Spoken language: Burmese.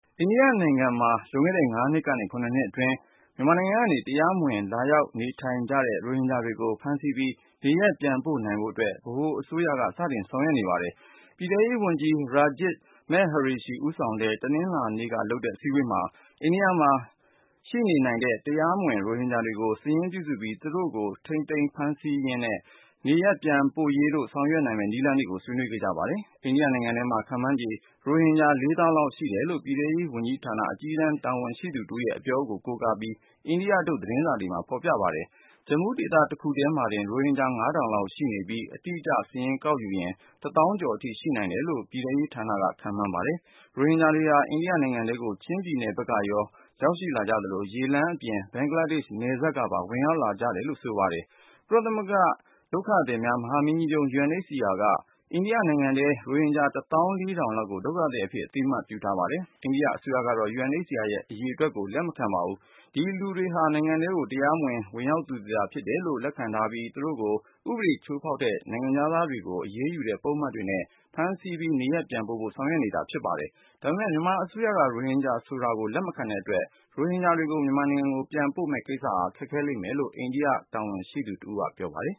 အိန္ဒိယ နိုင်ငံထဲမှာ လွန်ခဲ့တဲ့ ၅ နှစ်ကနေ ၇ နှစ်အတွင်းမြန်မာနိုင်ငံထဲကနေ တရားမဝင် လာရောက်နေထိုင်နေကြတဲ့ ရိုဟင်ဂျာတွေကို ဖမ်းဆီးနေရပ်ပြန်ပို့နိုင်ဖို့အတွက် ဗဟိုအစိုးရက စတင်ဆောင်ရွက်နေပါတယ်။ ပြည်ထဲရေးဝန်ကြီး Rajiv Mehrishi ဦးဆောင်ပြီး တနင်္လာနေ့က လုပ်ခဲ့တဲ့ အစည်းအဝေး မှာ အိန္ဒိယမှာ ရှိနေနိုင်တဲ့ တရားမဝင်ရိုဟင်ဂျာတွေကို စာရင်းပြုစုပြီး သူတို့ကို ထိမ်းသိမ်းရေး၊ ဖမ်းဆီးရေးနဲ့ နေရပ်ပြန်ပို့ရေးတို့ ဆောင်ရွက်နိုင်မယ့် နည်းလမ်းတွေကို ဆွေးနွေးခဲ့ကြပါတယ်။ အိန္ဒိယနိုင်ငံထဲမှာ ခန့်မှန်းခြေ ရိုဟင်ဂျာ ၄ သောင်းလောက်ရှိတယ်လို့ ပြည်ထဲရေး ဝန်ကြီးဌာနက အကြီးတန်း တာဝန်ရှိသူ တယောက်ရဲ့ အပြောကို အိန္ဒိယထုတ် သတင်းစာတွေထဲမှာ ဖော်ပြကြပါတယ်။ Jammu ဒေသတခုထဲမှာတင် ရိုဟင်ဂျာ ၅ ထောင်ကျော်လောက်ရှိပြီး အတိအကျ စာရင်းယူရင် ၁ သောင်းကျော်အထိရှိနိုင်တယ်လို့ ပြည်ထဲရေးဌာနက ခန့်မှန်းထားပါတယ်။ ရိုဟင်ဂျာတွေဟာ အိန္ဒိယနိုင်ငံထဲကို ချင်းပြည်နယ် ဖက်ကနေ ရောက်လာကြ သလို ရေလမ်း အပြင်၊ ဘင်္ဂလားဒေ့ရှ် နယ်စပ်ကနေ ဝင်ရောက်လာကြတယ်လို့ ဆိုပါတယ်။ ကုလသမဂ္ဂဒုက္ခသည်များ မဟာမင်းကြီးရုံး UNHCR က အိန္ဒိယ နိုင်ငံထဲကရိုဟင်ဂျာ ၁ သောင်း ၄ ထောင်လောက်ကို ဒုက္ခသည်အဖြစ် အသိအမှတ်ပြုထားပါတယ်။ အိန္ဒိယ အစိုးရကတော့ UNHCR ရဲ့အရေအတွက်ကို လက်မခံပါဘူး။ ဒီလူတွေဟာ နိုင်ငံထဲကို တရားမဝင် ဝင်ရောက်လာသူတွေသာ ဖြစ်တယ်လို့လက်ခံထားပြီး သူတို့ကို ဥပဒေ ချိုးဖောက်တဲ့ နိုင်ငံခြားသားတွေကို အရေးယူတဲ့ပုဒ်မတွေနဲ့ ဖမ်းဆီး နေရပ်ပြန် ပို့ဖို့ ဆောင်ရွက်နေတာဖြစ်ပါတယ်။ ဒါပေမဲ့ မြန်မာအစိုးရက ရိုဟင်ဂျာဆိုတာကို လက်မခံ တဲ့အတွက် ရိုဟင်ဂျာတွေကို မြန်မာနိုင်ငံကို ပြန်ပို့မယ့်ကိစ္စဟာ ခက်ခဲလိမ်မယ်လို့ အိန္ဒိယ တာဝန်ရှိသူတယောက်က ပြောပါတယ်